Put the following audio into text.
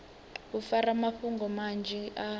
u fara mafhungo manzhi a